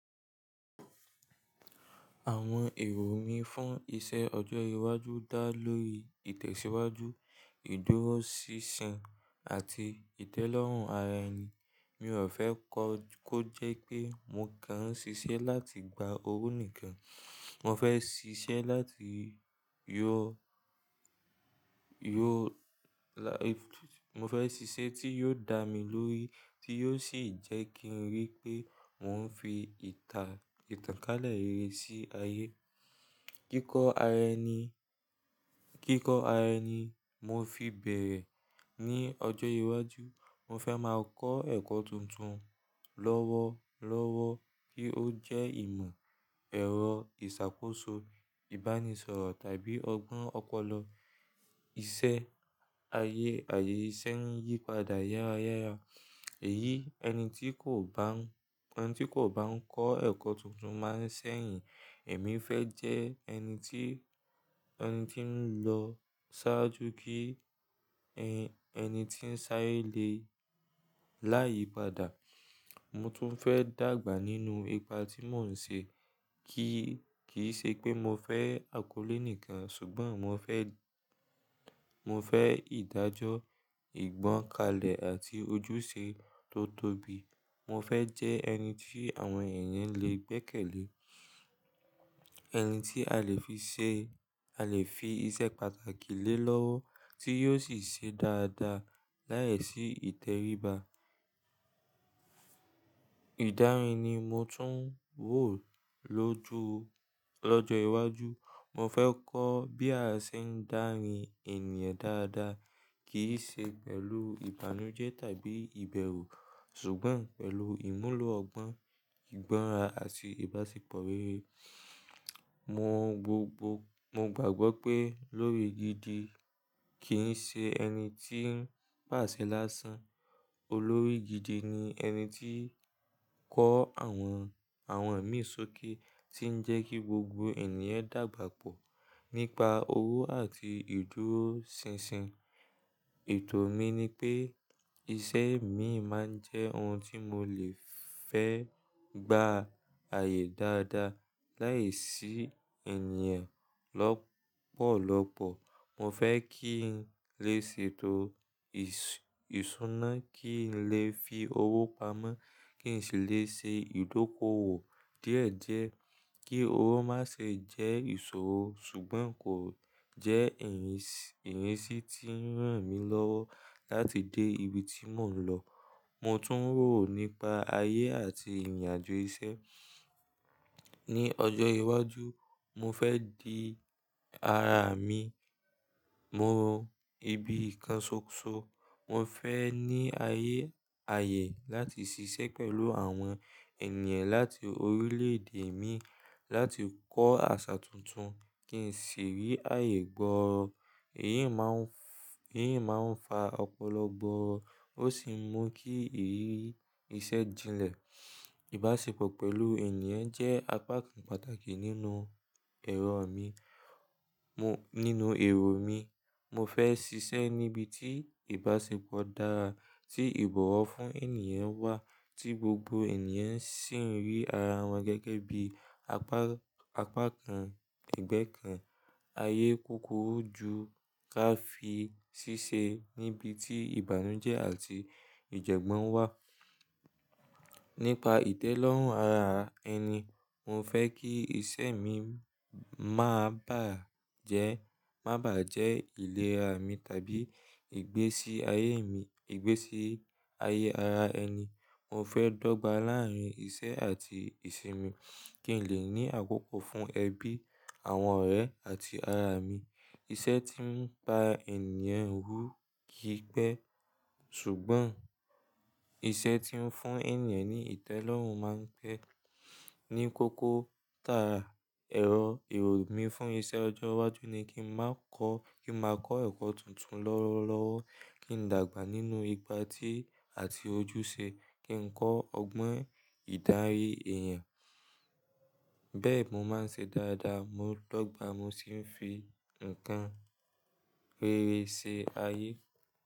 Àwọn èrò mí fún iṣẹ́ ọjọ́ iwájú dá lórí ìtẹ̀síwájú, ìdúróṣinṣin àti ìtẹ́lọ́rùn ara ẹni. Mi ò fẹ́ kọ́ kó jẹ́ pé mo kàn ń ṣiṣẹ́ láti gba owó nìkan. Mo fẹ́ ṣiṣẹ́ láti yọ, yọ la, mo fẹ́ ṣiṣẹ́ tí yóò dá mi lórí, tí yóò sì jẹ́ kí n rí pé mò ń fi ìta, ìtànkálẹ̀ rere sí ayé. Kíkọ́ ara ẹni, kíkọ́ ara ẹni mo fi bẹ̀rẹ̀. Àwọn èrò mí fún iṣẹ́ ọjọ́ iwájú dá lórí ìtẹ̀síwájú, ìdúróṣinṣin àti ìtẹ́lọ́rùn ara ẹni. Mi ò fẹ́ kọ́ kó jẹ́ pé mo kàn ń ṣiṣẹ́ láti gba owó nìkan. Mo fẹ́ ṣiṣẹ́ láti yọ, yọ la, mo fẹ́ ṣiṣẹ́ tí yóò dá mi lórí, tí yóò sì jẹ́ kí n rí pé mò ń fi ìta, ìtànkálẹ̀ rere sí ayé. Kíkọ́ ara ẹni, kíkọ́ ara ẹni mo fi bẹ̀rẹ̀. Mo tún fẹ́ dàgbà nínú ipa tí mò ń ṣe. Kíì ṣe pé mo fẹ́ akọ́lé nìkan ṣùgbọ́n mo fẹ́, mo fẹ́ ìdájọ́, ìgbọ́kàlẹ̀ àti ojúṣe tó tóbi. Mo fẹ́ jẹ ẹni tí àwọn èèyàn lè gbẹ́kẹ̀lé, ẹni tí a lè fi ṣe, a lè fi iṣẹ́ pàtàkì lé lọ́wọ́ tí yóò sì ṣe dáadáa láìsí ìtẹríba. Ìdarí ni mo tún wò lóju, lọ́jọ́ iwájú. Mo fẹ́ kọ́ bí a ṣe ń darí ènìyàn dáadáa. Kì í ṣe pẹ̀lú ìbànújẹ́ tàbí ìbẹ̀rù ṣùgbọ́n pẹ̀lú ìmúlò ọgbọ́n, ìgbọ́ra àti ìbáṣepọ̀ rere. Mo gbogbo, mo gbàgbọ́ pé olórí gidi kì í ṣe ẹni tí ń pàṣẹ lásán. Olórí gidi ni ẹni tí ń kọ́ àwọn, àwọn ẹ̀mí sókè tí ń jẹ́ kí gbogbo ènìyàn dàgbà pọ̀ nípa owó àti ìdúróṣinṣin. Ètò mi ni pé iṣẹ́ mi máa ń jẹ́ ohun tí mo lè fẹ́ gbá ayé dáadáa láìsí ènìyàn lọ́pọ̀lọ́pọ̀. Mo fẹ́ kí n lè ṣètò ìṣúná, kí n lè fi owó pamọ́, kí n sì lè ṣe ìdókòwò díẹ̀ díẹ̀. Kí owó má ṣe jẹ́ ìṣòro ṣùgbọ́n kò jẹ́ èyí sì tí ń ràn mí lọ́wọ́ láti dé ibi tí mò ń lọ. Mo tún rò nípa ayé àti ìrìnàjò iṣẹ́. Ni ọjọ́ iwájú mo fẹ́ di ara mi mo ibi kan ṣoṣo. Mo fẹ́ ní ayé àyè láti ṣiṣẹ́ pẹ̀lú àwọn ènìyàn láti orílẹ̀ èdè mi láti kọ́ àṣà tuntun kí n sì rí ayé gbọ́. Èyí máa ń, èyí máa ń fa ọpọlọpọ. Ó sì mú kí ìrírí iṣẹ́ jinlẹ̀. Ìbáṣepọ̀ pẹ̀lú ènìyàn jẹ́ apá kan pàtàkì nínú ẹ̀rọ mi, nínú èrò mi. Mo fẹ́ ṣiṣẹ́ níbi tí ìbáṣepọ̀ dára, tí ìbọ̀wọ̀ fún ènìyàn wà tí gbogbo ènìyàn sì ń rí ara wọn gẹ́gẹ́ bí apá kan, ẹgbẹ́ kan. Ayé kúkúrú ju ká fi ṣiṣẹ́ níbi tí ìbànújẹ́ àti ìjẹ́gbọ́n wà. Nípa ìtẹ́lọ́rùn ara ẹni, mo fẹ́ kí iṣẹ́ mi má bàá jẹ́, má bàá jẹ́ ìlera mi tàbí ìgbésí ayé mi, ìgbésí ayé ara ẹni. Mo fẹ́ dọ́gba láàárín iṣẹ́ àti ìsinmi kí n lè ní àkókò fún ẹbí, àwọn ọ̀rẹ́ àti ara mi. Iṣẹ́ tí ń pa ènìyàn hú kì í pẹ́ ṣùgbọ́n iṣẹ́ tí ń fún ènìyàn ní ìtẹ́lọ́rùn máa ń pẹ́. Ni kókó ta ẹ̀rọ èrò mi fún iṣẹ́ ọjọ́ iwájú ni kí n má a kọ́, kí n má a kọ́ ẹ̀kọ́ tuntun lọ́wọ́lọ́wọ́, kí n dàgbà nínú ipá tí àti ojúṣe, kí n kọ́ ọgbọ́n ìdarí èèyàn. Bẹ́ẹ̀ mò máa ń ṣe dáadáa, mo dọ́gba mo sì ń fi nǹkan rere ṣe ayé.